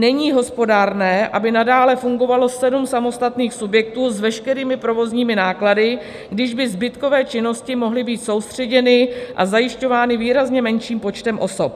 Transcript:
Není hospodárné, aby nadále fungovalo sedm samostatných subjektů s veškerými provozními náklady, když by zbytkové činnosti mohly být soustředěny a zajišťovány výrazně menším počtem osob.